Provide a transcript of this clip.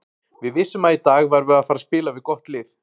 Við vissum að í dag værum við að fara spila við gott lið.